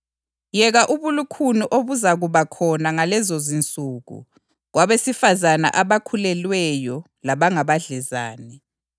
Yeka ubulukhuni obuzakuba khona ngalezonsuku kwabesifazane abakhulelweyo labangabadlezane!